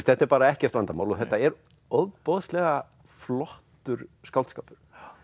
þetta er bara ekkert vandamál og þetta er ofboðslega flottur skáldskapur